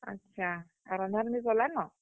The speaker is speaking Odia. ଆଛା! ଆର୍, ରନ୍ଧା, ରୁନ୍ଧି କଲନ?